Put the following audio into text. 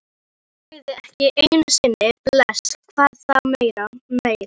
Hann sagði ekki einu sinni bless, hvað þá meir.